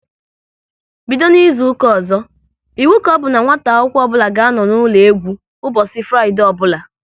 Bido n'izuka ọzọ, iwu ka ọbụ n'nwata akwụkwọ ọbụla ga-anọ n'ụlọ egwu ụbọchị Fraịdee ọbụla!